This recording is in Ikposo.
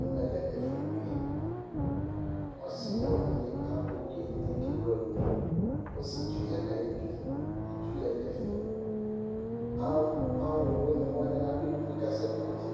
Ɛmɛlɛ ɛfʋ buele, ɔsi ɔlʋwini akɔ kente kʋ ewʋ ɛlʋ, ɔsietsʋ yanʋ ayʋ idʋ Itsu yanʋ ɛfɛ, alʋwini wani adʋ ɛkʋfue kʋ asɛkpɔ ɔtsɛ